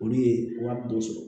Olu ye wari dɔ sɔrɔ